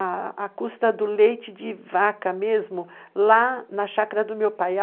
a custa do leite de vaca mesmo, lá na chácara do meu pai.